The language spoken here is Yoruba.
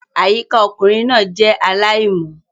Àyíká ọkùnrin náà jẹ́ aláìmọ́